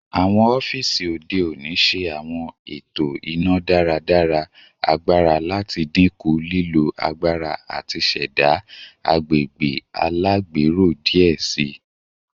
Awọn ọfiisi ode oni ṣe awọn eto ina-daradara agbara lati dinku lilo agbara ati ṣẹda agbegbe alagbero diẹ sii